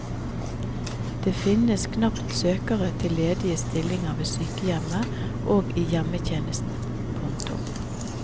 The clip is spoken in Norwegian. Det finnes knapt søkere til ledige stillinger ved sykehjem og i hjemmetjenesten. punktum